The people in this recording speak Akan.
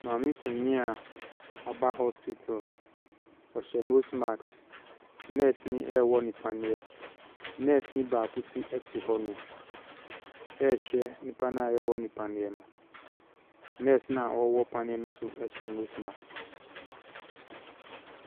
Maame panin a wɔaba hospital, ɔhyɛ nose mask. Nɛɛseni ɛrewɔ no paneɛ, nɛɛseni baako nso te hɔnom ɛrehwɛ nipa no a yɛrewɔ no paneɛ no. Nɛɛse no a ɔrewɔ paneɛ no nso hyɛ nose mask.